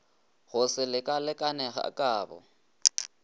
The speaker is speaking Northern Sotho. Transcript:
go se lekalekane ga kabo